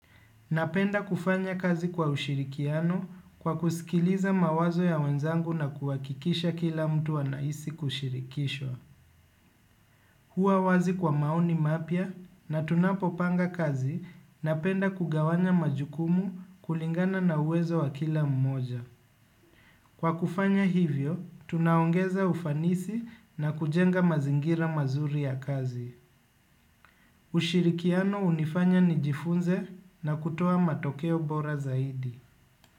Napenda kufanya kazi kwa ushirikiano kwa kusikiliza mawazo ya wenzangu na kuhakikisha kila mtu anahisi kushirikishwa. Kuwa wazi kwa maoni mapya na tunapopanga kazi napenda kugawanya majukumu kulingana na uwezo wa kila mmoja. Kwa kufanya hivyo, tunaongeza ufanisi na kujenga mazingira mazuri ya kazi. Ushirikiano hunifanya nijifunze na kutoa matokeo bora zaidi.